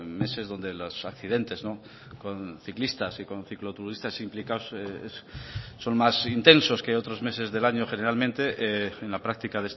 meses donde los accidentes con ciclistas y con cicloturistas implicados son más intensos que otros meses del año generalmente en la práctica